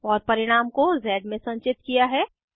और परिणाम को ज़ में संचित किया है